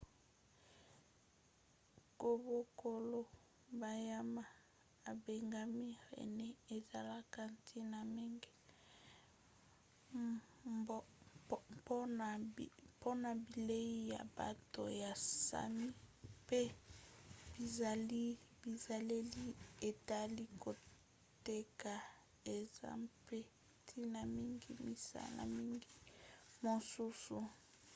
kobokola banyama ebengami renne ezalaka ntina mingi mpona bilei ya bato ya sami pe bizaleli etali koteka eza mpe ntina mingi misala mingi mosusu